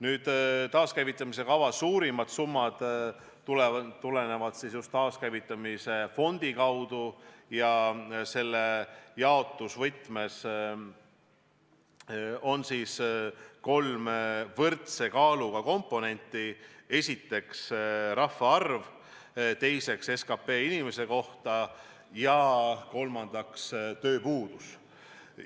Nüüd, taaskäivitamise kava suurimad summad tulevad just taaskäivitamise fondi kaudu ja selle jaotusvõtmes on kolm võrdse kaaluga komponenti: esiteks rahvaarv, teiseks SKP ühe inimese kohta ja kolmandaks tööpuudus.